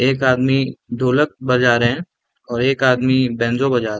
एक आदमी ढ़ोलक बजा रहे है और एक आदमी बैंजो बजा रहे --